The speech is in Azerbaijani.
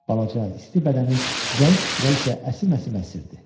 Balaca, isti bədəni zəif titrəyişlə əsim-əsim əsirdi.